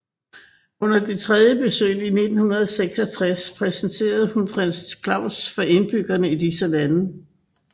Under det tredje besøg i 1966 præsenterede hun prins Claus for indbyggerne i disse lande